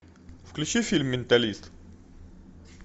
включи фильм менталист